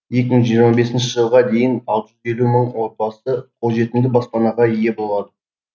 екі мың жиырма бесінші жылға дейін алты жүз елу мың отбасы қолжетімді баспанаға ие болады